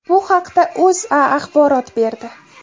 Bu haqda O‘zA axborot berdi .